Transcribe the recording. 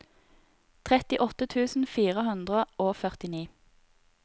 trettiåtte tusen fire hundre og førtini